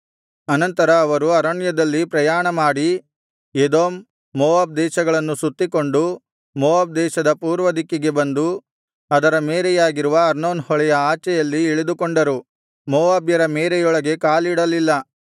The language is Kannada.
ಅನಂತರ ಅವರು ಅರಣ್ಯದಲ್ಲಿ ಪ್ರಯಾಣಮಾಡಿ ಎದೋಮ್ ಮೋವಾಬ್ ದೇಶಗಳನ್ನು ಸುತ್ತಿಕೊಂಡು ಮೋವಾಬ್‍ ದೇಶದ ಪೂರ್ವದಿಕ್ಕಿಗೆ ಬಂದು ಅದರ ಮೇರೆಯಾಗಿರುವ ಅರ್ನೋನ್ ಹೊಳೆಯ ಆಚೆಯಲ್ಲಿ ಇಳಿದುಕೊಂಡರು ಮೋವಾಬ್ಯರ ಮೇರೆಯೊಳಗೆ ಕಾಲಿಡಲಿಲ್ಲ